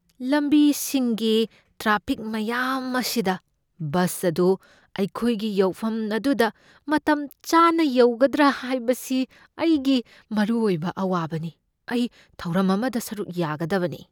ꯂꯝꯕꯤꯁꯤꯡꯒꯤ traffic ꯃꯌꯥꯝ ꯑꯁꯤꯗ bus ꯑꯗꯨ ꯑꯩꯈꯣꯏꯒꯤ ꯌꯧꯐꯝ ꯑꯗꯨꯗ ꯃꯇꯝꯆꯥꯅ ꯌꯧꯒꯗ꯭ꯔꯥ ꯍꯥꯏꯕꯁꯤ ꯑꯩꯒꯤ ꯃꯔꯨꯑꯣꯏꯕ ꯑꯋꯥꯕꯅꯤ꯫ ꯑꯩ ꯊꯧꯔꯝ ꯑꯃꯗ ꯁꯔꯨꯛ ꯌꯥꯒꯗꯕꯅꯤ꯫